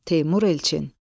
Teymur Elçin.